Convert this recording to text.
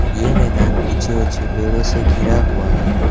ये मैदान ऊंचे ऊंचे पेड़ों से घिरा हुआ है।